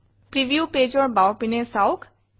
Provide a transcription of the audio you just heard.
preview pageৰ বাওপিনে চাওঁক